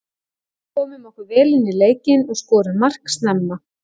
Komum okkur vel inní leikinn og skorum mark snemma.